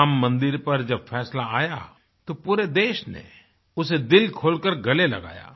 राम मंदिर पर जब फ़ैसला आया तो पूरे देश ने उसे दिल खोलकर गले लगाया